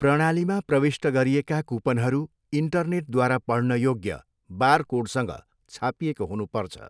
प्रणालीमा प्रविष्ट गरिएका कुपनहरू इन्टरनेटद्वारा पढ्न योग्य बारकोडसँग छापिएको हुनुपर्छ।